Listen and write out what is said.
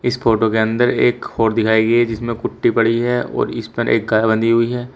इस फोटो के अंदर एक हौड़ दिखाइ गई है जिसमें कुट्टी पड़ी है और इस पर एक गाय बंधी हुई है।